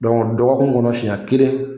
dɔgɔkun kɔnɔ siɲɛ kelen